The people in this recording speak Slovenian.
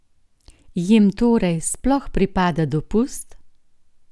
Jim torej sploh pripada dopust?